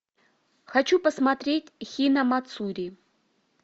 хочу посмотреть хинамацури